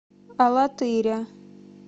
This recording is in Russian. алатыря